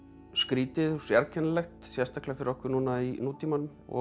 skrýtið og sérkennilegt sérstaklega fyrir okkur núna í nútímanum og